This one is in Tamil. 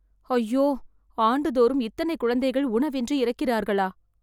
ஐயோ ஆண்டுதோறும் இத்தனை குழந்தைகள் உணவின்றி இறக்கிறார்களா !